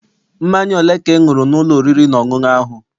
Mmanya ole ka ị ṅụrụ n'ụlọ oriri na ọṅụṅụ ahụ?